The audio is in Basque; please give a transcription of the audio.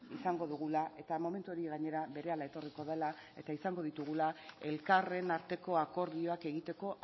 izango dugula eta momentu hori gainera berehala etorriko dela eta izango ditugula elkarren arteko akordioak egiteko